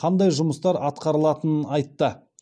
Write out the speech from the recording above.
қандай жұмыстар атқарылатынын айтты